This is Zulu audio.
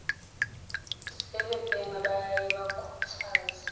sebebhema bayaye bakhuthaze